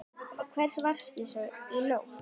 Og hvar varstu í nótt?